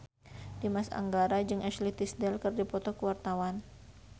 Dimas Anggara jeung Ashley Tisdale keur dipoto ku wartawan